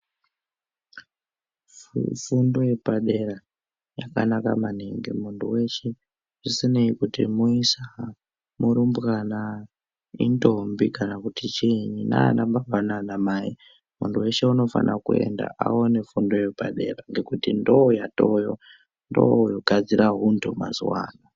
Fundo yepadera yakanaka maningi munthu weshe zvisinei nekuti muisa, murumbwana, intombi kana kuti chiinyi nanababa naana mai munthu weshe unofana kuenda aone fundo yepadera ngekuti ndooyatoweyo ndooyogadzira unthu mazuwa ano.